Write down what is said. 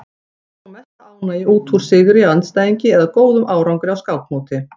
Þeir fá mesta ánægju út úr sigri á andstæðingi eða góðum árangri á skákmóti.